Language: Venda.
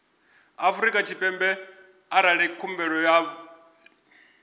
afrika tshipembe arali khumbelo vha